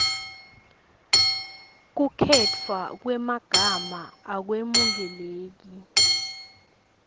kukhetfwa kwemagama akwemukeleki